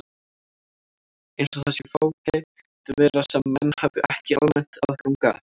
Eins og það sé fágæt vara sem menn hafi ekki almennt aðgang að.